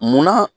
Munna